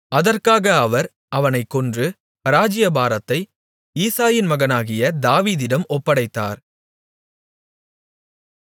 அதற்காக அவர் அவனைக் கொன்று ராஜ்ஜியபாரத்தை ஈசாயின் மகனாகிய தாவீதிடம் ஒப்படைத்தார்